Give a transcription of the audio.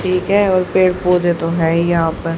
ठीक है और पेड़ पौधे तो हैं ही यहां पर।